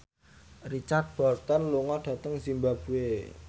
Richard Burton lunga dhateng zimbabwe